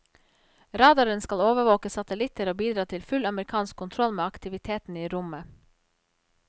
Radaren skal overvåke satellitter og bidra til full amerikansk kontroll med aktiviteten i rommet.